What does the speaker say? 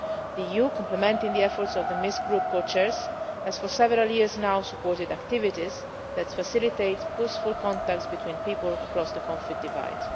The EU complementing the efforts of the Minsk Group co chairs has for several years now supported activities that facilitate peaceful contacts between people across the conflict